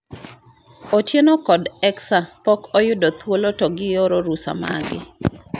Otieno kod Xxa pok oyudo thuolo to gioro rusa margi